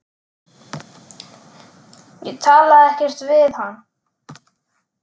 Ég talaði ekkert við hann.